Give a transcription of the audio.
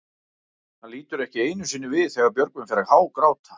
Hann lítur ekki einu sinni við þegar Björgvin fer að hágráta.